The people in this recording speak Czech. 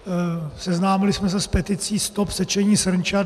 Seznámili jsme se s peticí Stop sečení srnčat!